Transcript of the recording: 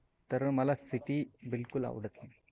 तर मला city बिलकुल आवडत नाही.